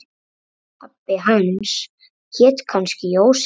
Pabbi hans hét kannski Jósef.